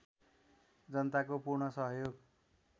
जनताको पूर्ण सहयोग